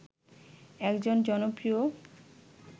একজন জনপ্রিয়